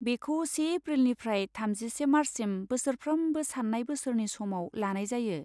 बेखौ से एप्रिलनिफ्राय थामजिसे मार्चसिम बोसोरफ्रोमबो सान्नाय बोसोरनि समाव लानाय जायो।